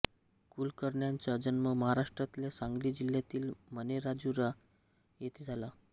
कुलकर्ण्यांचा जन्म महाराष्ट्रातल्या सांगली जिल्ह्यातील मणेराजुरी येथे झाला